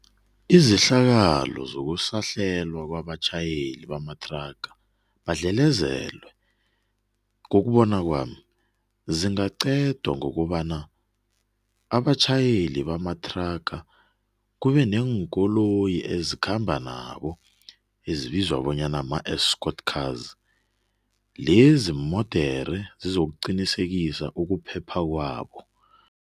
Izehlakalo zokusahlelwa kwabatjhayeli bamathraga badlelezelwe, ngokubona kwami, zingaqedwa ngokobana abatjhayeli bamathraga kube neenkoloyi ezikhamba nabo ezibizwa bonyana ma-escort cars. Lezi iimodere zizokuqinisekisa ukuphepha kwabo.